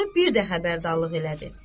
Vəliqulu bir də xəbərdarlıq elədi.